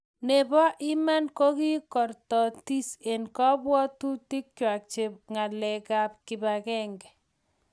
nebo iman kokikortotis eng kabwotutikwach ng'alekab kibagenge